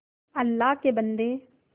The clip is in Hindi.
अल्लाह के बन्दे